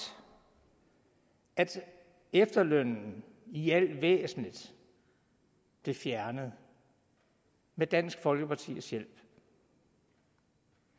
at efterlønnen i al væsentlighed blev fjernet med dansk folkepartis hjælp